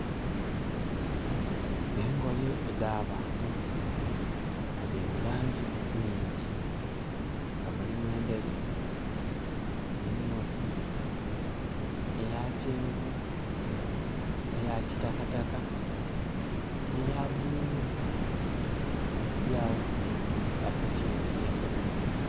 Engoye edh'abantu nga dhiri mu langi nnhingi nga mulimu endheru, emyufu, eyakyenvu, eyakitakataka ne ya bululu nga dhiri awo badhitimbye.